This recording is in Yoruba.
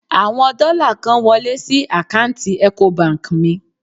Àwọn dọ́là kan wọlé sí àkáǹtì Ecobank mi.